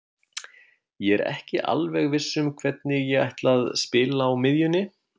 Ég er ekki alveg viss um hvernig ég ætla að spila á miðjunni.